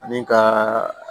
Ani ka